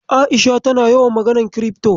A'isha tana yawan maganar kirifto.